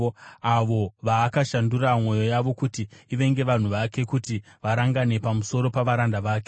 avo vaakashandura mwoyo yavo kuti ivenge vanhu vake, kuti varangane pamusoro pavaranda vake.